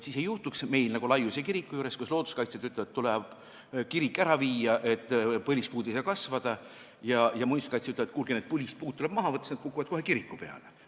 Siis ei juhtuks nii nagu meil Laiuse kirikuga, et looduskaitsjad ütlevad, et kirik tuleb sealt ära viia, sest põlispuud ei saa kasvada, ja muinsuskaitsjad ütlevad, et kuulge, need põlispuud tuleb maha võtta, sest nad kukuvad kohe kiriku peale.